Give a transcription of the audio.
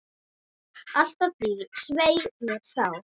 Allt að því, svei mér þá!